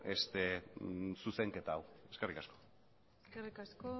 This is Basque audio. zuzenketa hau eskerrik asko eskerrik asko